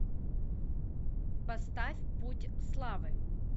поставь путь славы